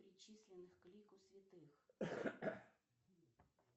причисленных к лику святых